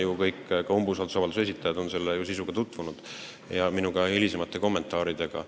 Ju on kõik, ka umbusaldusavalduse esitajad, selle sisuga tutvunud, samuti minu hilisemate kommentaaridega.